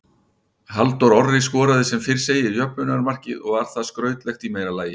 Halldór Orri skoraði sem fyrr segir jöfnunarmarkið og var það skrautlegt í meira lagi.